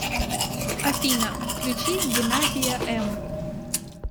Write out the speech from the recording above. афина включи геннадия эм